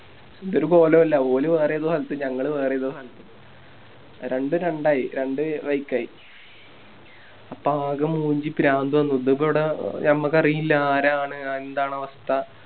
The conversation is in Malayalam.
എന്തൊരു കൊലൊല്ല ഓല് വേറേതോ സ്ഥലത്ത് ഞങ്ങള് വേറേതോ സ്ഥലത്ത് രണ്ടും രണ്ടായി രണ്ട് വയ്ക്കായി അപ്പൊ ആകെ മൂഞ്ചി പ്രാന്ത് വന്ന് ഇതിപ്പോവിടെ ഞമ്മക്കറിയില്ല ആരാണ് എന്താണവസ്ഥ